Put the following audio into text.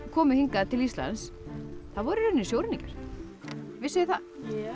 komu hingað til Íslands voru í rauninni sjóræningjar vissuð þið það